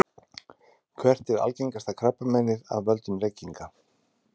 hvert er algengasta krabbameinið af völdum reykinga